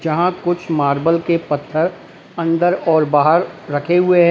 यहां कुछ मार्बल के पत्थर अंदर और बाहर रखे हुए हैं।